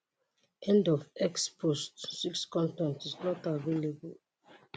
end of x post 6 con ten t is not available